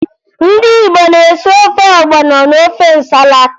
Ndị Igbo na-esi ofe ọgbọnọ na ofe nsala